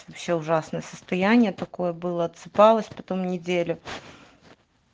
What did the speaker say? вообще ужасное состояние такое было отсыпалась потом неделю